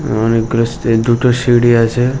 অনেকগুলো স্টে দুটো সিঁড়ি আছে--